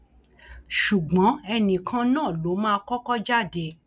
ṣùgbọn ẹnì kan náà ló mà kọkọ jáde